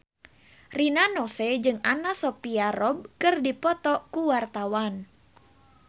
Rina Nose jeung Anna Sophia Robb keur dipoto ku wartawan